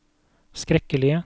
skrekkelige